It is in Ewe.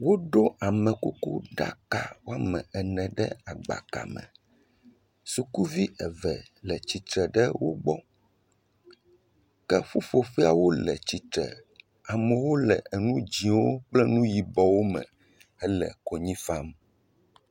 Woɖo amekuku ɖaka woame ene ɖe agbaka me, sukuvi eve le tsitre ɖe wo gbɔ, ke ƒuƒoƒea wole tsitre, amewo le enu dzɛ̃wo kple enu yibɔwo me hele konyi fam.